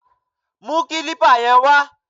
Mú kílípà yẹn wá!